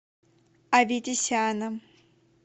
аветисяном